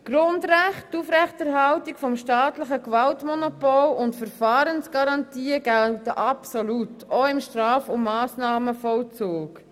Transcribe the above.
Die Grundrechte, die Aufrechterhaltung des staatlichen Gewaltmonopols und Verfahrensgarantien gelten absolut, auch im Straf- und Massnahmenvollzug.